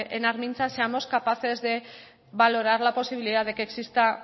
en armintza seamos capaces de valorar la posibilidad de que exista